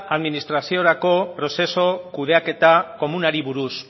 administraziorako prozesu kudeaketa komunari buruz